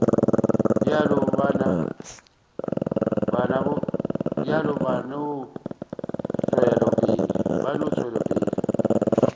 bjalo ba no tšwela pele